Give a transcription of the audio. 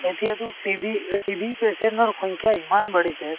এতিয়াতো TB এ TB patient ৰ সংখ্যা ইমান বাঢ়িছে